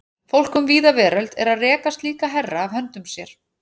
Fólk um víða veröld er að reka slíka herra af höndum sér.